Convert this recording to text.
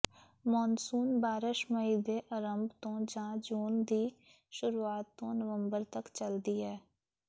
monsoon ਬਾਰਸ਼ ਮਈ ਦੇ ਅਰੰਭ ਤੋਂ ਜਾਂ ਜੂਨ ਦੀ ਸ਼ੁਰੂਆਤ ਤੋਂ ਨਵੰਬਰ ਤਕ ਚੱਲਦੀ ਹੈ